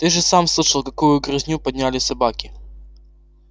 ты же сам слышал какую грызню подняли собаки